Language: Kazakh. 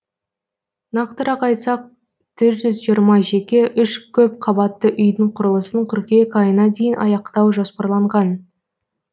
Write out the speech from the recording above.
нақтырақ айтсақ төрт жүз жиырма жеке үш көпқабатты үйдің құрылысын қыркүйек айына дейін аяқтау жоспарланған